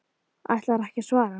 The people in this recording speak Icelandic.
Ætlarðu ekki að svara?